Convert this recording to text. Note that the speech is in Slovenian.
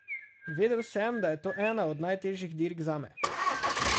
Vedel sem, da je to ena od najtežjih dirk zame.